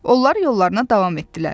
Onlar yollarına davam etdilər.